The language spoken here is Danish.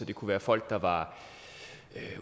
det kunne være folk der var